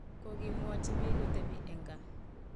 kokimwochi biik kotepii en kaa